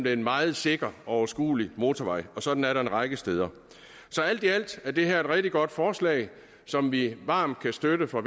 er en meget sikker og overskuelig motorvej og sådan er der en række steder så alt i alt er det her et rigtig godt forslag som vi varmt kan støtte fra